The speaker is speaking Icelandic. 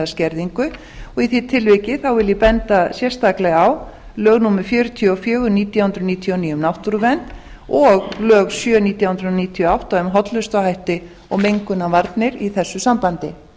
eða skerðingu og í því tilviki vil ég benda sérstaklega á lög númer fjörutíu og fjögur nítján hundruð níutíu og níu um náttúruvernd og lög númer sjö nítján hundruð níutíu og átta um hollustuhætti og mengunarvarnir í þessu sambandi